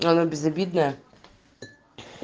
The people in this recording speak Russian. она безобидная